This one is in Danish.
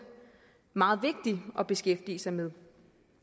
meget vigtig at beskæftige sig med